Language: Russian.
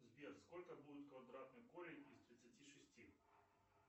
сбер сколько будет квадратный корень из тридцати шести